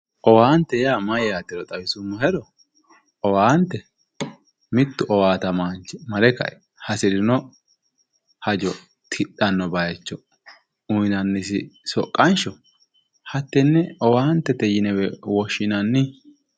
owaante yaa mayyaatero xawisummohero owaante mittu owaatamaanchi mare kae hasirino hajo tidhanno bayiicho uyiinannosi soqqansho hattenne owaantete yinewe woshshinanni